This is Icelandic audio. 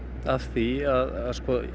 af því að